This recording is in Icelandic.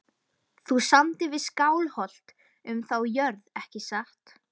Þú samdir við Skálholt um þá jörð ekki satt?